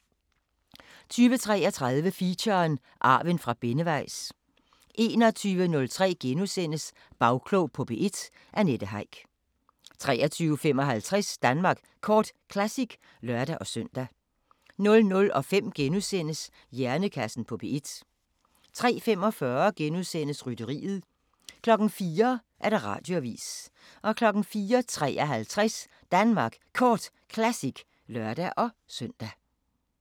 20:33: Feature: Arven fra Benneweis 21:03: Bagklog på P1: Annette Heick * 23:55: Danmark Kort Classic (lør-søn) 00:05: Hjernekassen på P1 * 03:45: Rytteriet * 04:00: Radioavisen 04:53: Danmark Kort Classic (lør-søn)